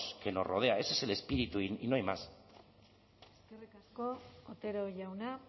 que nos rodea ese es el espíritu y no hay más eskerrik asko otero jauna